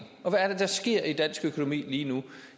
og hvad er det der sker i dansk økonomi lige nu